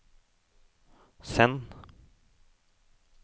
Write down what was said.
send